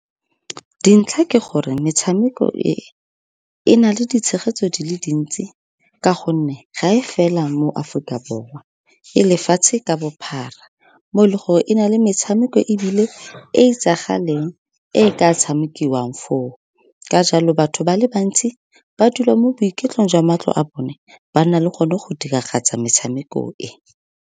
Dintlha ke gore metshameko e e na le ditshegetso di le dintsi, ka gonne ga e fela mo Aforika Borwa, e lefatshe ka bophara. Mo e leng gore e na le metshameko ebile e e itsagaleng e e ka tshamekiwang foo. Ka jalo, batho ba le bantsi ba dula mo boiketlong jwa matlo a bone, ba nna le gone go diragatsa metshameko e.